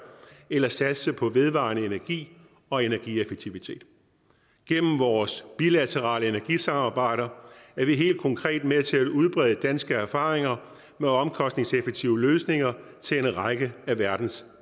eller satse på vedvarende energi og energieffektivitet gennem vores bilaterale energisamarbejder er vi helt konkret med til at udbrede danske erfaringer med omkostningseffektive løsninger til en række af verdens